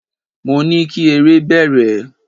Mo ní kí eré bẹ̀rẹ̀!